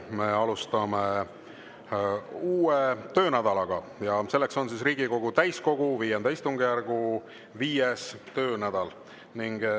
Me alustame uut töönädalat ja selleks on Riigikogu täiskogu V istungjärgu 5. töönädal.